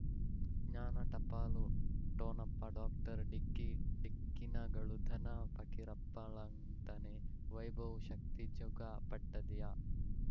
ಜ್ಞಾನ ಟಪಾಲು ಠೊಣಪ ಡಾಕ್ಟರ್ ಢಿಕ್ಕಿ ಢಿಕ್ಕಿ ಣಗಳನು ಧನ ಫಕೀರಪ್ಪ ಳಂತಾನೆ ವೈಭವ್ ಶಕ್ತಿ ಝಗಾ ಪಟ್ಪದಿಯ